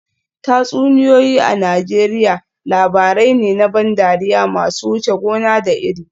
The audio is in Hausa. Tatsuniyoyi a Najeriya labarai ne na ban dariya masu wuce gona da iri